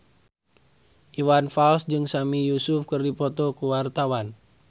Iwan Fals jeung Sami Yusuf keur dipoto ku wartawan